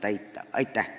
Aitäh!